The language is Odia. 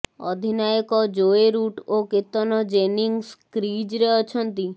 ଅଧିନାୟକ ଜୋଏ ରୁଟ୍ ଓ କେତନ ଜେନିଙ୍ଗସ୍ କ୍ରିଜ୍ରେ ଅଛନ୍ତି